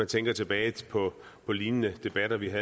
tænker tilbage på på lignende debatter vi har